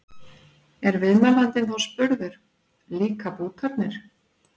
Er viðmælandinn þá spurður: Líka bútarnir?